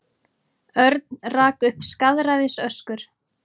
Örn rak upp skaðræðisöskur.